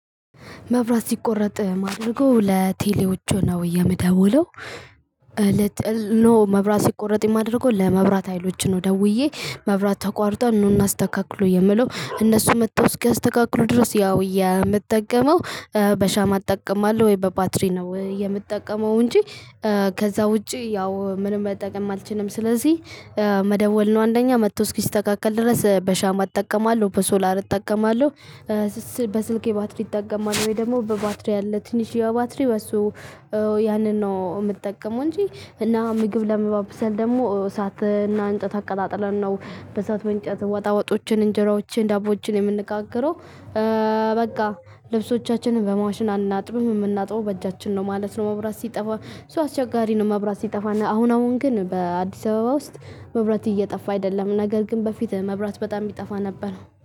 መብራት ሲቆረጥ ማድረገው ለቴሌዎቹ ነው የምደውለው። ለቴሌዎቹ ኖ መብራት ሲቆረጥ የማደርገው ለመብራት ሀይሎች ነው ደውዬ መብራት ተቋርጧል ኑ እናስተካክሎ የምለው እነሱ መጥተው እስኪያስተካክሉ ድረስ ያው የምጠቀመው በሻማ እጠቀማለሁ ወይ በባትሪ ነው የምጠቀመው። እንጂ ከዛ ውጪ ያው ምንም መጠቀም አልችልም። ስለዚህ መደወል ነው አንደኛ መጥቶ እስኪስተካከል ድረስ በሻማ እጠቀማለሁ በሶላር እጠቀማለሁ። በስልኬ ባትሪ እጠቀማለሁ ወይ ደግሞ በባትሪ አለ ትንሽዬ ባትሪ በእሱ ያንን ነው የምጠቀመው። እንጂ እና ምግብ ለማብሰል ደግሞ እሳትና እንጨት አቀጣጥለን ነው በእሳቱ እንጨት ወጣው ወጦችን እንጀራዎችን ዳቦችን የምንጋገረው የምንነጋገረው። በቃ ልብሶቻችንን በማሽን አናጥብም የምናጥበው በእጃችን ነው ማለት ነው። መብራት ሲጠፋ አስቸጋሪ ነው። መብራት ሲጠፋ አሁን አሁን ግን በአዲስ አበባ ውስጥ መብራት እየጠፋ አይደለም ነገር ግን በፊት መብራት በጣም ይጠፋ ነበረ